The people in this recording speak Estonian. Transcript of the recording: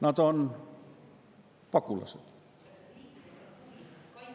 Nad on pagulased.